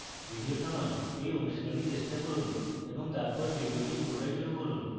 video থামান এই অনুশীলনী চেষ্টা করুন এবং তারপর video পুনরায় শুরু করুন